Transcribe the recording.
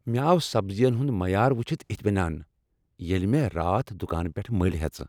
مےٚ آو سبزین ہند معیار وچھِتھ اطمینان ییٚلہ مےٚ راتھ دکان پیٹھ ٕ مٔلۍ ہیژٕ۔